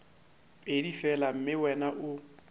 pedi fela mme wena o